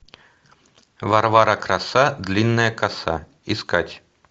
варвара краса длинная коса искать